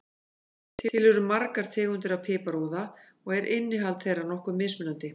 Til eru margar tegundir af piparúða og er innihald þeirra nokkuð mismunandi.